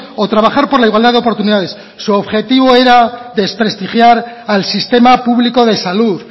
o trabajar por la igualdad de oportunidades su objetivo era desprestigiar al sistema público de salud